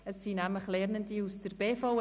Es handelt sich um Lernende der BVE.